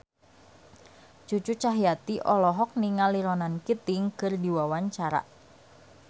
Cucu Cahyati olohok ningali Ronan Keating keur diwawancara